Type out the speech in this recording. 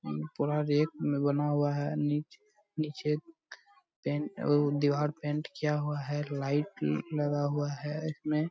थोड़ा रेत में बना हुआ है नीचे-नीचे पेंट वो दिवार पेंट किया हुआ है लाइट लगा हुआ है इसमें ।